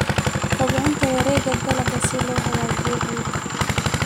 Kobcinta wareegga dalagga si loo hagaajiyo ciidda.